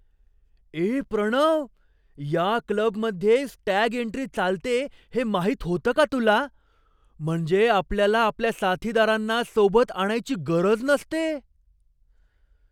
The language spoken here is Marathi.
ए प्रणव, या क्लबमध्ये स्टॅग एन्ट्री चालते हे माहित होतं का तुला? म्हणजे आपल्याला आपल्या साथीदारांना सोबत आणायची गरज नसते!